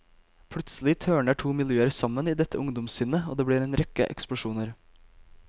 Plutselig tørner to miljøer sammen i dette ungdomssinnet, og det blir en rekke eksplosjoner.